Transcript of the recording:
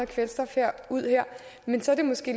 kvælstof ud der men så er det måske